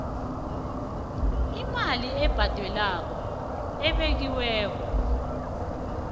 imali ebhadelwako ebekiweko